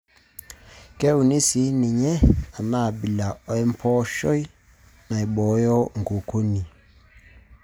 Keuni sii ninye enaabila empooshoi naibooyo nkukuni.